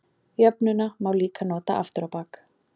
Jöfnuna má líka nota aftur á bak.